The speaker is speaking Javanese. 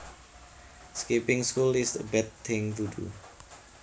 Skipping school is a bad thing to do